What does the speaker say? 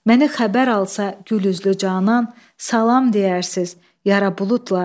Məni xəbər alsa gülüzlü canan, salam deyərsiz yara buludlar.